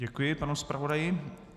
Děkuji panu zpravodaji.